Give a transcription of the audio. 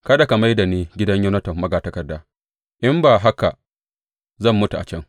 Kada ka mai da ni gidan Yonatan magatakarda, in ba haka zan mutu a can.